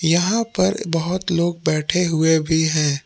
यहां पर बहुत लोग बैठे हुए भी हैं।